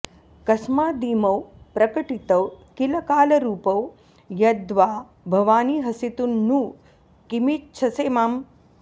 कस्मादिमौ प्रकटितौ किल कालरूपौ यद्वा भवानि हसितुं नु किमिच्छसे माम्